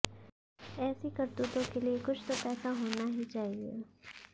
ऐसी करतूतों के लिए कुछ तो पैसा होना ही चाहिए